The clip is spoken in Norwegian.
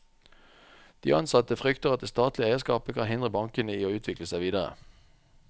De ansatte frykter at det statlige eierskapet kan hindre bankene i å utvikle seg videre.